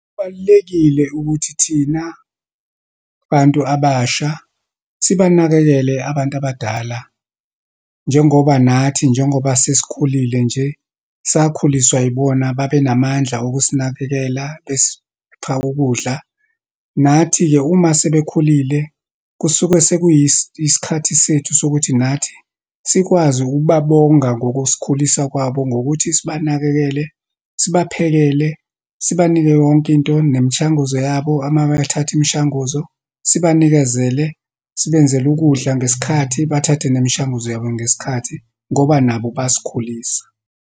Kubalulekile ukuthi thina bantu abasha, sibanakekele abantu abadala, njengobanathi, njengoba sesikhulile nje, sakhuliswa yibona, babe namandla okusinakekela, besipha ukudla. Nathi-ke, uma sebekhulile, kusuke sekuyi yisikhathi sethu sokuthi nathi sikwazi ukubabonga ngokusikhulisa kwabo, ngokuthi sibanakekele, sibaphekele, sibanike yonke into, nemishanguzo yabo, ama bathatha imishanguzo, sibanikezele, sibenzele ukudla ngesikhathi, bathathe nemishanguzo yabo ngesikhathi ngoba nabo basikhulisa.